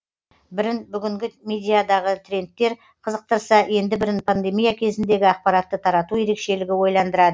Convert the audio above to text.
бірін бүгінгі медиадағы трендтер қызықтырса енді бірін пандемия кезіндегі ақпаратты тарату ерекшелігі ойландырады